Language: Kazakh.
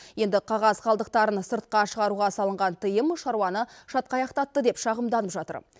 енді қағаз қалдықтарын сыртқа шығаруға салынған тыйым шаруаны шатқаяқтатты деп шағымданып жатыр